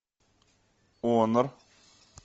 онор